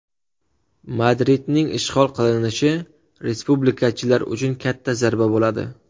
Madridning ishg‘ol qilinishi respublikachilar uchun katta zarba bo‘ladi.